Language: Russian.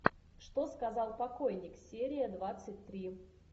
что сказал покойник серия двадцать три